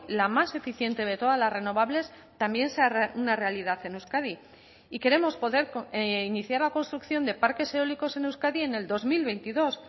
la más eficiente de todas las renovables también sea una realidad en euskadi y queremos poder iniciar la construcción de parques eólicos en euskadi en el dos mil veintidós